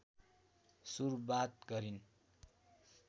सुरवात गरिन्